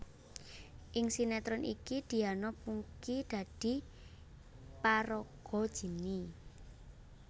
Ing sinetron iki Diana Pungky dadi paraga Jinny